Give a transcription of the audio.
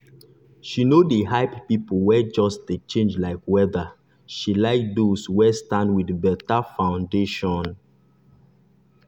she no dey hype people wey just dey change like weather she like those wey stand with better foundation.